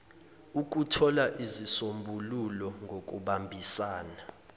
ukuthola izisombululo ngokubambisana